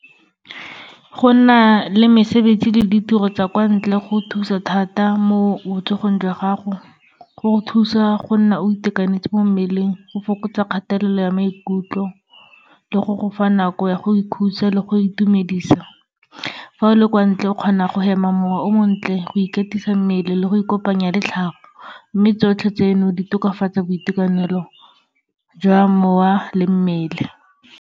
Go na le mesebetsi le ditiro tsa kwa ntle, go thusa thata mo botsogong jwa gago. Go go thusa go nna o itekanetse mo mmeleng, go fokotsa kgatelelo ya maikutlo, le go go fa nako ya go ikhutsa le go itumedisa. Fa o le kwa ntle, o kgona go hema mowa o montle, go ikatisa mmele, le go ikopanya le tlhago. Mme tsotlhe tseno, di tokafatsa boitekanelo jwa mowa le mmele.